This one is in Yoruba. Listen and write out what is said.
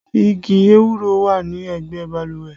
Igi ewúro wà ní ẹgbẹ́ balùwẹ̀